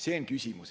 See on küsimus.